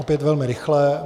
Opět velmi rychle.